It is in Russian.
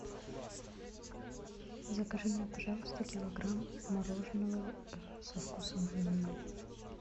закажи мне пожалуйста килограмм мороженого со вкусом ванили